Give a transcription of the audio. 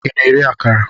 Ị na-eri akara?